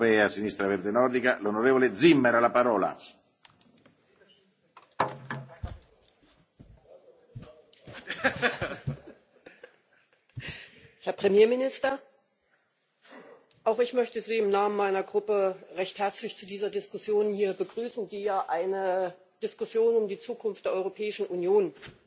Herr Präsident, Herr Premierminister! Auch ich möchte Sie im Namen meiner Gruppe recht herzlich hier zu dieser Diskussion begrüßen, die ja eine Diskussion über die Zukunft der Europäischen Union